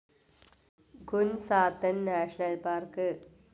ഖുൻ സാത്തൻ national park